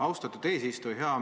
Austatud eesistuja!